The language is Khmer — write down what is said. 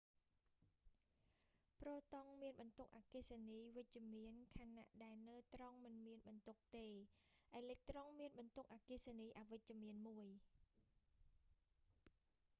ប្រូតុងមានបន្ទុកអគ្គិសនីវិជ្ជមានខណៈ ដែលណឺត្រុងមិនមានបន្ទុកទេ អេឡិចត្រុងមានបន្ទុកអគ្គិសនីអវិជ្ជមានមួយ